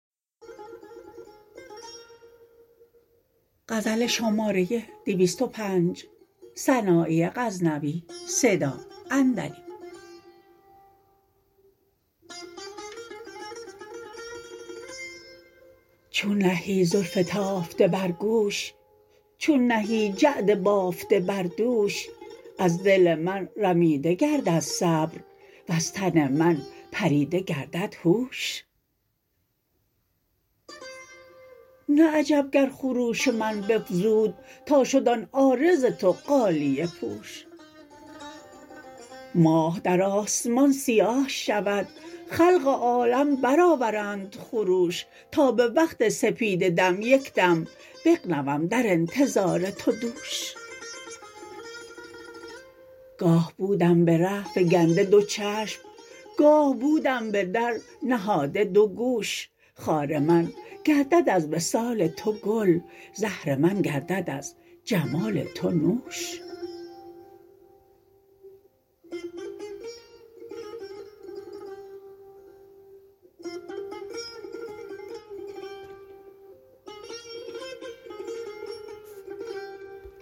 چون نهی زلف تافته بر گوش چون نهی جعد بافته بر دوش از دل من رمیده گردد صبر وز تن من پریده گردد هوش نه عجب گر خروش من بفزود تا شد آن عارض تو غالیه پوش ماه در آسمان سیاه شود خلق عالم برآورند خروش تا به وقت سپیده دم یک دم نغنودم در انتظار تو دوش گاه بودم به ره فگنده دو چشم گاه بودم به در نهاده دو گوش خار من گردد از وصال تو گل زهر من گردد از جمال تو نوش